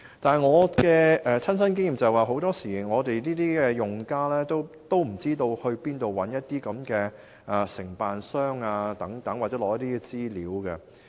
但是，據我的親身經驗，很多時候用家不知道到哪裏尋找承辦商，又或取得相關資料。